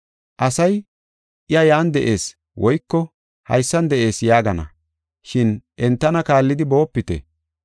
Asay, ‘I yan de7ees’ woyko, ‘Haysan de7ees’ yaagana, shin entana kaallidi boopite.